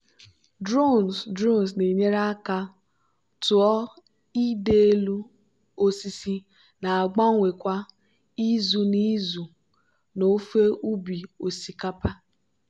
drones drones na-enyere aka tụọ ịdị elu osisi na-agbanwe kwa izu n'izu n'ofe ubi osikapa.